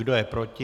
Kdo je proti?